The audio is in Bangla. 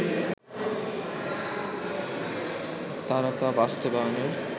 তারা তা বাস্তবায়নের